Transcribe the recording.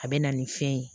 A bɛ na nin fɛn ye